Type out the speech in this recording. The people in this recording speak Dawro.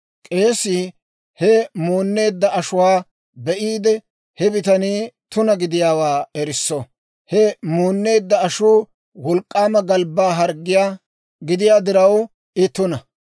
K'eesii he muunneedda ashuwaa; be'iide he bitanii tuna gidiyaawaa erisso. He muunneedda ashuu wolk'k'aama galbbaa harggiyaa gidiyaa diraw, I tuna.